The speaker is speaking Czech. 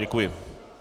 Děkuji.